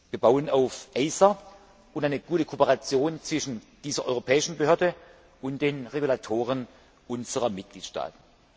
Wir bauen auf ACER und eine gute Kooperation zwischen dieser europäischen Behörde und den Regulatoren unserer Mitgliedstaaten.